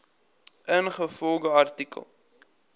ingevolge artikel